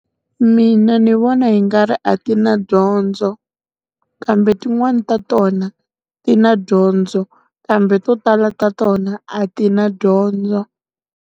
Mina ndzi vona hi nga ri a ti na dyondzo. Kambe tin'wani ta tona, ti na dyondzo, kambe to tala ta tona a ti na dyondzo.